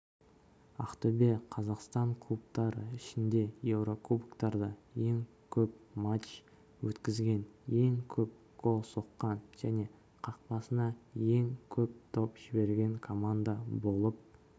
әақтөбе қазақстан клубтары ішінде еурокубоктарда ең көп матч өткізген ең көп гол соққан және қақпасына ең көп доп жіберген команда болып